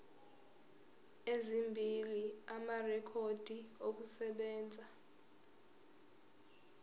ezimbili amarekhodi okusebenza